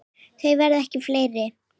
Þau verða ekki fleiri.